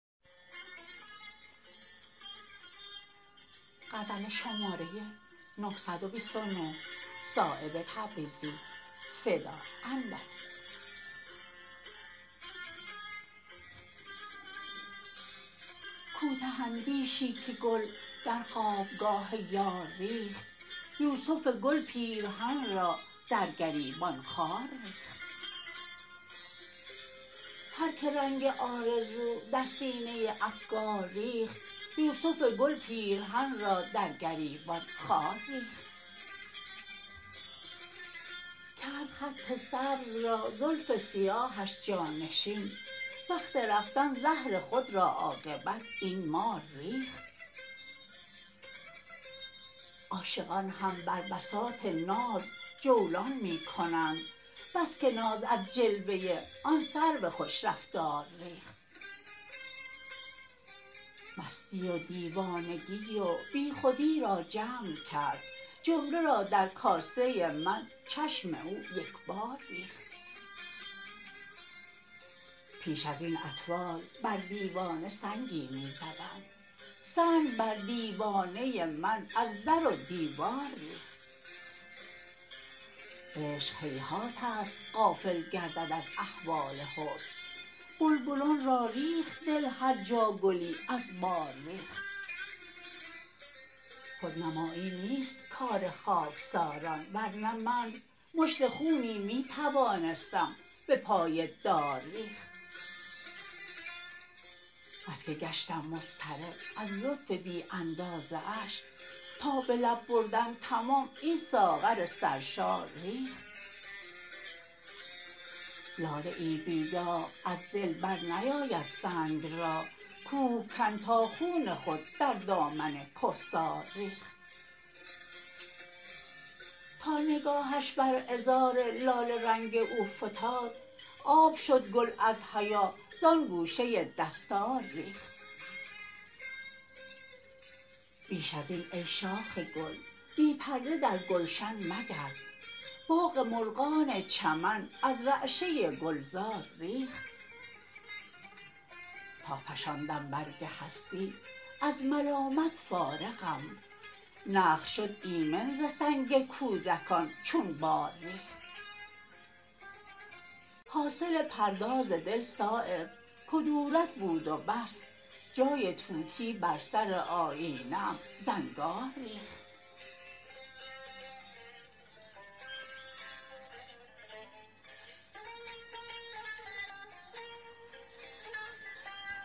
کوته اندیشی که گل در خوابگاه یار ریخت یوسف گل پیرهن را در گریبان خار ریخت هر که رنگ آرزو در سینه افگار ریخت یوسف گل پیرهن را در گریبان خار ریخت کرد خط سبز را زلف سیاهش جانشین وقت رفتن زهر خود را عاقبت این مار ریخت عاشقان هم بر بساط ناز جولان می کنند بس که ناز از جلوه آن سرو خوش رفتار ریخت مستی و دیوانگی و بیخودی را جمع کرد جمله را در کاسه من چشم او یکبار ریخت پیش ازین اطفال بر دیوانه سنگی می زدند سنگ بر دیوانه من از در و دیوار ریخت عشق هیهات است غافل گردد از احوال حسن بلبلان را ریخت دل هر جا گلی از بار ریخت خودنمایی نیست کار خاکساران ورنه من مشت خونی می توانستم به پای دار ریخت بس که گشتم مضطرب از لطف بی اندازه اش تا به لب بردن تمام این ساغر سرشار ریخت لاله ای بی داغ از دل برنیاید سنگ را کوهکن تا خون خود در دامن کهسار ریخت تا نگاهش بر عذار لاله رنگ او فتاد آب شد گل از حیا زان گوشه دستار ریخت بیش ازین ای شاخ گل بی پرده در گلشن مگرد باغ مرغان چمن از رعشه گلزار ریخت تا فشاندم برگ هستی از ملامت فارغم نخل شد ایمن ز سنگ کودکان چون بار ریخت حاصل پرداز دل صایب کدورت بود و بس جای طوطی بر سر آیینه ام زنگار ریخت